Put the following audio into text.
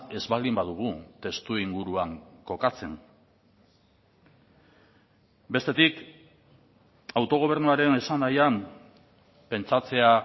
ez baldin badugu testuinguruan kokatzen bestetik autogobernuaren esanahian pentsatzea